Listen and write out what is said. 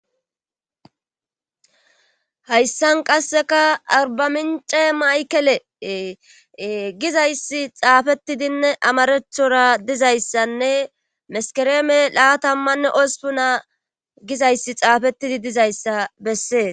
hayssan qasseka arbamince maykele gizayssi xaafetidinne amarethora dizayssanne meskereeme laatammanne ospuna gizayssi xaafettidi dizayssa bessees